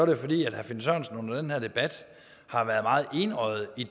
jo fordi herre finn sørensen under den her debat har været meget enøjet i